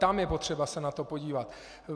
Tam je potřeba se na to podívat.